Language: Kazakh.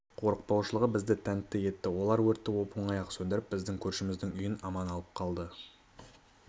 қорықпаушылығы бізді тәнті етті олар өртті оп оңай-ақ сөндіріп біздің көршіміздің үйін аман алып қалды